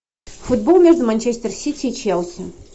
футбол между манчестер сити и челси